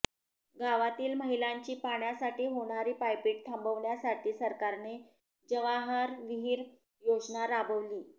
गावातील महिलांची पाण्यासाठी होणारी पायपीट थांबवण्यासाठी सरकारने जवाहर विहीर योजना राबवली